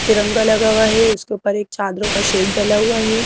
तिरंगा लगा हुआ है उसके ऊपर एक चादरों का शेड डला हुआ है।